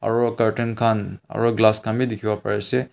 aru curtain kan aru glass kan bi tekibo pari ase.